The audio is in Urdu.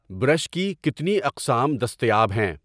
برش کی کتنی اقسام دستیاب ہیں؟